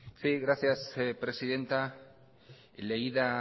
sí gracias presidenta leída